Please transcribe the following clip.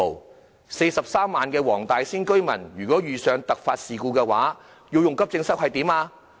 如果43萬名黃大仙區的居民遇上突發事故，要使用急症室怎麼辦呢？